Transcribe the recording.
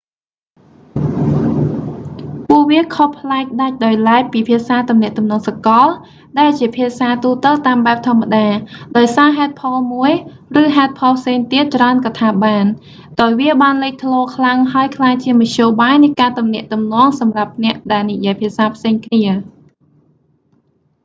ពួកវាខុសប្លែកដាច់ដោយឡែកពីភាសាទំនាក់ទំនងសកល ដែលជាភាសាទូទៅតាមបែបធម្មតា ដោយសារហេតុផលមួយ ឬហេតុផលផ្សេងទៀតច្រើនក៏ថាបាន ដោយវាបានលេចធ្លោខ្លាំងហើយក្លាយជាមធ្យោបាយនៃការទំនាក់ទំនងសម្រាប់អ្នកដែលនិយាយភាសាផ្សេងគ្នា